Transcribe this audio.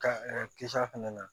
Ka kisɛ a fɛnɛ na